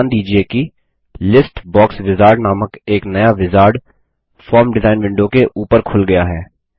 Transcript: ध्यान दीजिये कि लिस्ट बॉक्स विजार्ड नामक एक नया विजार्ड फॉर्म डिजाइन विंडो के ऊपर खुल गया है